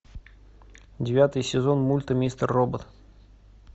девятый сезон мульта мистер робот